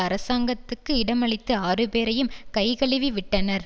அரசாங்கத்துக்கு இடமளித்து ஆறுபேரையும் கைகழுவிவிட்டனர்